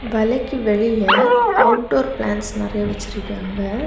வலைக்கு வெளியில outdoor plants நறைய வச்சிருக்காங்க.